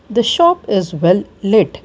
the shop is well lit.